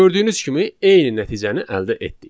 Gördüyünüz kimi eyni nəticəni əldə etdik.